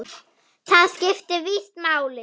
Það skipti víst máli.